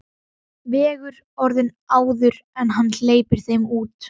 Vegur orðin áður en hann hleypir þeim út.